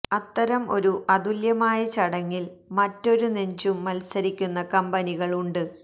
അത്തരം ഒരു അതുല്യമായ ചടങ്ങിൽ മറ്റൊരു നെഞ്ചും മത്സരിക്കുന്ന കമ്പനികൾ ഉണ്ട്